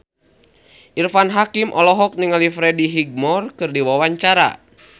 Irfan Hakim olohok ningali Freddie Highmore keur diwawancara